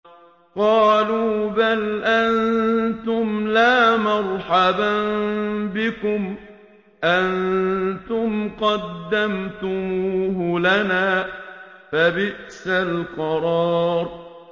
قَالُوا بَلْ أَنتُمْ لَا مَرْحَبًا بِكُمْ ۖ أَنتُمْ قَدَّمْتُمُوهُ لَنَا ۖ فَبِئْسَ الْقَرَارُ